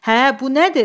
Hə, bu nədir?